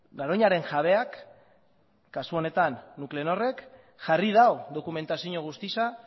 garoñaren jabeak kasu honetan nuclenorrek jarri du dokumentazio guztia